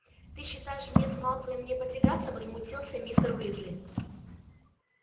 ты считаешь мне с малфоем не потягаться возмутился мистер уизли